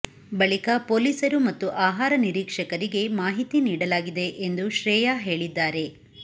ಬಳಿಕ ಪೊಲೀಸರು ಮತ್ತು ಆಹಾರ ನಿರೀಕ್ಷಕರಿಗೆ ಮಾಹಿತಿ ನೀಡಲಾಗಿದೆ ಎಂದು ಶ್ರೇಯಾ ಹೇಳಿದ್ದಾರೆ